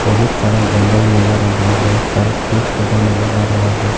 बहुत सारा जंगल नजर आ रहा है बहुत सारा पेड़ पौधा नजर आ रहा है।